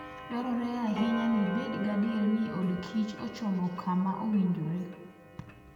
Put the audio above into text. Dwarore ahinya ni ibed gadier ni odkich ochomo kama owinjore.